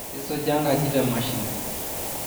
isuja enkaji te mashini